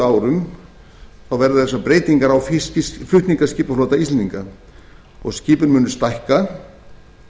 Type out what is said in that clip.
eins og ég segi að á næstu árum verða þær breytingar á flutningaskipaflota íslendinga að skipin munu stækka